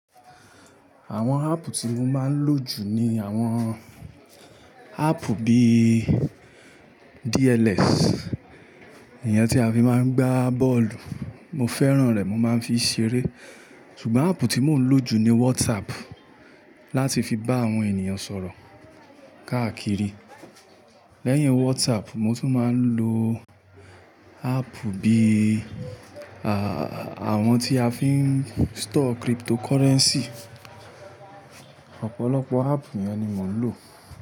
Àwon app ti mo máa ń lo jù ni àwon app bi DLS, èyán ti a fi máa ń gba bọ́ọ̀lù. Mo fẹ́ràn rẹ̀, mo máa ń fi ṣeré. Sugbon app ti mo ń lo jù ni WhatsApp láti fi bá àwon ènìyàn sọ̀rọ̀ káàkiri. Lẹ́yìn WhatsApp, mo tún máa ń lo app bi àwon ti a fi ń store cryptocurrency.